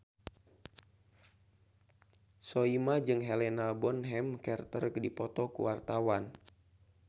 Soimah jeung Helena Bonham Carter keur dipoto ku wartawan